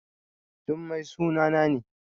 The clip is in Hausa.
Jummai sunana ne